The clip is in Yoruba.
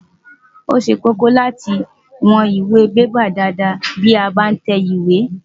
Ó ṣe kókó láti wọn ìwọ̀n bébà dáadáa bí a bá ń tẹ ìwé.